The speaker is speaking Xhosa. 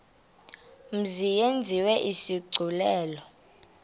mzi yenziwe isigculelo